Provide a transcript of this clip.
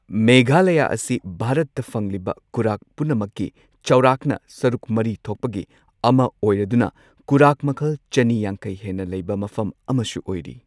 ꯃꯦꯘꯥꯂꯌꯥ ꯑꯁꯤ ꯚꯥꯔꯠꯇ ꯐꯪꯂꯤꯕ ꯀꯨꯔꯥꯛ ꯄꯨꯝꯅꯃꯛꯀꯤ ꯆꯥꯎꯔꯥꯛꯅ ꯁꯔꯨꯛ ꯃꯔꯤ ꯊꯣꯛꯄꯒꯤ ꯑꯃ ꯑꯣꯏꯔꯗꯨꯅ ꯀꯨꯔꯥꯛ ꯃꯈꯜ ꯆꯅꯤ ꯌꯥꯡꯈꯩ ꯍꯦꯟꯅ ꯂꯩꯕ ꯃꯐꯝ ꯑꯃꯁꯨ ꯑꯣꯏꯔꯤ꯫